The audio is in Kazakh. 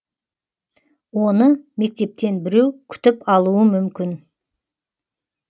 оны мектептен біреу күтіп алуы мүмкін